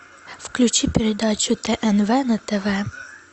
включи передачу тнв на тв